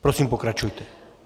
Prosím, pokračujte.